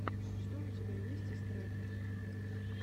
что у тебя есть из треков